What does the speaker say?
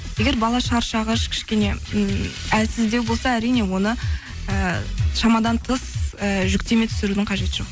егер бала шаршағыш кішкене м әлсіздеу болса әрине оны ы шамадан тыс ы жүктеме түсірудің қажеті жоқ